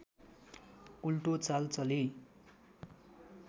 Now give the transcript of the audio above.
उल्टो चाल चली